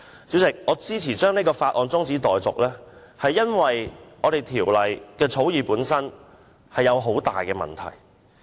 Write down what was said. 主席，我支持將《條例草案》的二讀辯論中止待續，是因為《條例草案》的草擬本身出現重大問題。